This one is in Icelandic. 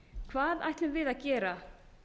hvað ætlum við að gera